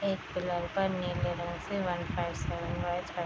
नीले रंग से वन फाइव सेवन फाइव है।